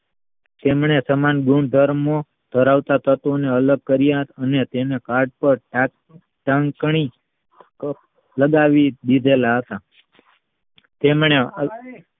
તેમને સમાન ગુણધર્મો ધરાવતા તત્વ ને અલગ કર્યા અને તેને લગાવી દીધેલા હતા તેમણે